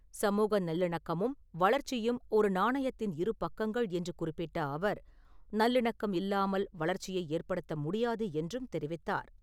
சமூக நல்லிணக்கமும் வளர்ச்சியும் ஒரு நாணயத்தின் இருபக்கங்கள் என்று குறிப்பிட்ட அவர், நல்லிணக்கம் இல்லாமல் வளர்ச்சியை ஏற்படுத்த முடியாது என்றும் தெரிவித்தார்.